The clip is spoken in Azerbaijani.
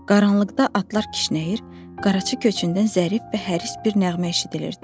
Qaranlıqda atlar kişnəyir, qaraçı köçündən zərif və həris bir nəğmə eşidilirdi.